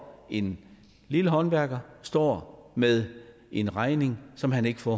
en lille håndværker står med en regning som han ikke får